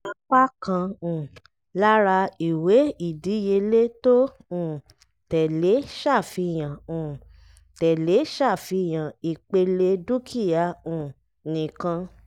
apá kan um lára ìwé ìdíyelé tó um tẹ́lé ṣàfihàn um tẹ́lé ṣàfihàn ìpele dúkìá um nìkan.